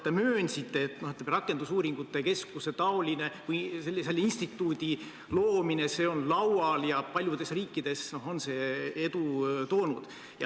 Te möönsite, et rakendusuuringute keskuse või mingi sellise instituudi loomine on laual ja paljudes riikides on see edu toonud.